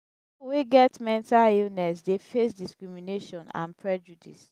wey get mental illness dey face discrimination and prejudice.